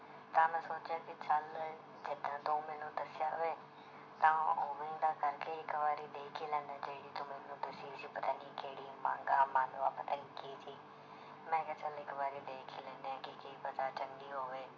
ਤਾਂ ਮੈਂ ਸੋਚਿਆ ਕਿ ਚੱਲ ਜਿੱਦਾਂ ਤੂੰ ਮੈਨੂੰ ਦੱਸਿਆ ਵੀ ਤਾਂ ਉੱਵੇਂ ਦਾ ਕਰਕੇ ਇੱਕ ਵਾਰੀ ਦੇਖ ਹੀ ਲੈਨਾ ਜਿਹੜੀ ਤੂੰ ਮੈਨੂੰ ਦੱਸੀ ਸੀ ਪਤਾ ਨੀ ਕਿਹੜੀ ਪਤਾ ਨੀ ਕੀ ਸੀ ਮੈਂ ਕਿਹਾ ਚੱਲ ਇੱਕ ਵਾਰੀ ਦੇਖ ਹੀ ਲੈਂਦੇ ਹਾਂ ਕਿ ਕੀ ਪਤਾ ਚੰਗੀ ਹੋਵੇ